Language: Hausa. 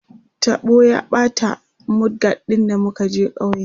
taɓo ya ɓata mud guard ɗin da muka je kauye